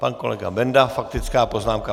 Pan kolega Benda - faktická poznámka.